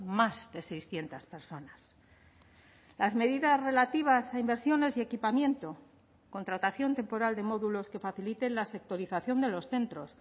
más de seiscientos personas las medidas relativas a inversiones y equipamiento contratación temporal de módulos que faciliten la sectorización de los centros